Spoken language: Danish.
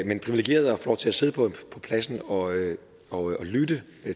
få lov til at sidde på pladsen og og lytte